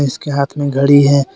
उसके हाथ में घड़ी है।